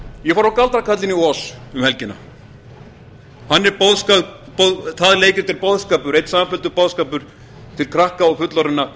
ég fór á galdrakarlinn í oz um helgina það leikrit er einn samfelldur boðskapur fyrir krakka og fullorðna